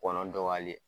Kɔnɔ dɔgɔyalen